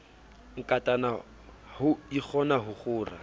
nkatana ho ikgona ho kgora